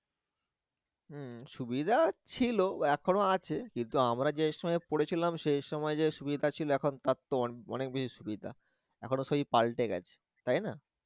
উম সুবিধা ছিল এখনো আছে কিন্তু আমরা যে সময় পড়েছিলাম শেষ সময়ে যে সুবিধা ছিল এখন তার তো অনেক বেশি সুবিধা, এখন সই পালটে গেছে তাই না?